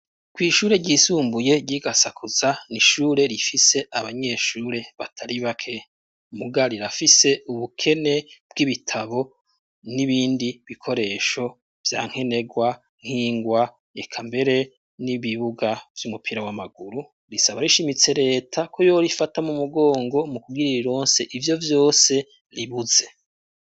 Kw'ishure ryisumbuye ryi Gasakuza ni ishure rifise abanyeshure batari bake muga rirafise ubukene bw'ibitabo n'ibindi bikoresho vyankenerwa nkingwa eka mbere n'ibibuga vy'umupira w'amaguru risaba rishimitse reta ko yo rifata mo mugongo mu kubwirira ironse ivyo vyose ribuze.